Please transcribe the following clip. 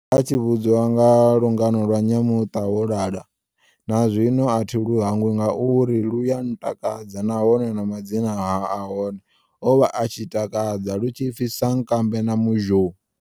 A tshi vhudzwa nga lungano lwa nyamuṱawolala, na zwino athi lu hangwi ngauri lwuya ntakadza nahone na madzina ahone ovha a tshitakadza lu tshi pfi sankambe na muzhou.